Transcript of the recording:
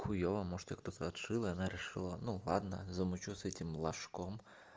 хуёво может её кто-то отшил и она решила ну ладно замучу с этим лошком